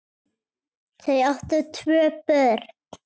Þau áttu tvö börn.